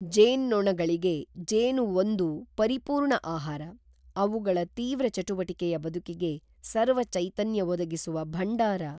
ಜೇನ್ನೊಣಗಳಿಗೆ ಜೇನು ಒಂದು ಪರಿಪೂರ್ಣ ಆಹಾರ; ಅವುಗಳ ತೀವ್ರ ಚಟುವಟಿಕೆಯ ಬದುಕಿಗೆ ಸರ್ವಚೈತನ್ಯ ಒದಗಿಸುವ ಭಂಡಾರ.